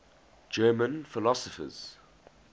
german philosophers